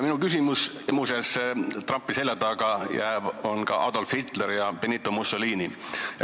Muuseas, Trumpi selja taha jäävad ka Adolf Hitler ja Benito Mussolini.